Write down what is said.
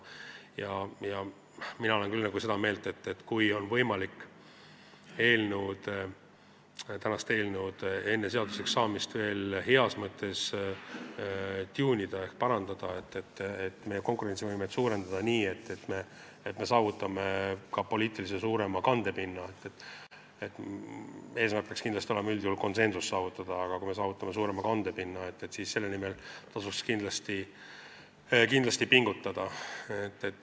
Mina olen küll seda meelt, et kui on võimalik seda eelnõu enne seaduseks saamist veel heas mõttes tuunida ehk parandada, meie konkurentsivõimet suurendada nii, et me saavutame ka suurema poliitilise kandepinna – eesmärk peaks üldjuhul olema konsensuse saavutamine –, siis selle nimel tasuks pingutada.